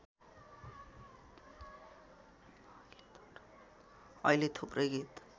अहिले थुप्रै गीत